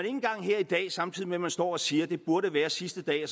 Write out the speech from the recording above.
engang her i dag samtidig med at man står og siger at det burde være sidste dag